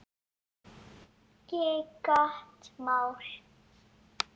Ekki gott mál.